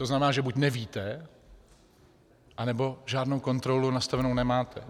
To znamená, že buď nevíte, anebo žádnou kontrolu nastavenu nemáte.